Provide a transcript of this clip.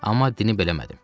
Amma bildirmədim.